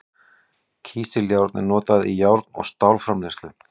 Kísiljárn er notað í járn- og stálframleiðslu.